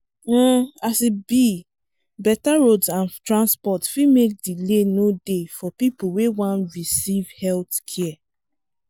um as e be better roads and transport fit make delay no dey for people wey one receive healthcare.